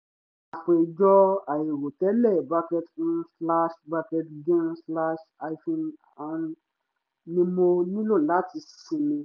àpèjọ àìrò tẹ́lẹ̀ bracket um slash bracket gan slash hyphen an ni mo nílò láti sinmi